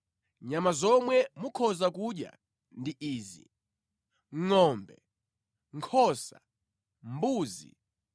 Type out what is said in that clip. Nyama zomwe mukhoza kudya ndi izi: ngʼombe, nkhosa, mbuzi,